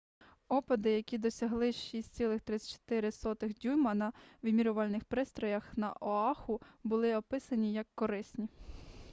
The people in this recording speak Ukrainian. опади які досягали 6,34 дюйма на вимірювальних пристроях на оаху були описані як корисні